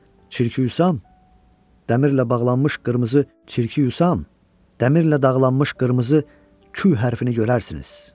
Çirkiyusam, dəmirlə bağlanmış qırmızı, çirkiyusam, dəmirlə bağlanmış qırmızı Kü hərfiini görərsiniz.